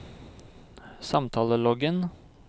samtaleloggen